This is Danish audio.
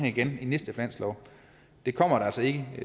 i den næste finanslov det kommer altså ikke